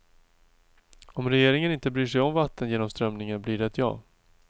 Om regeringen inte bryr sig om vattengenomströmningen blir det ett ja.